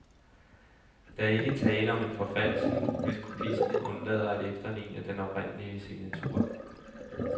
Der er ikke tale om forfalskning, hvis kopisten undlader at efterligne den oprindelige signatur.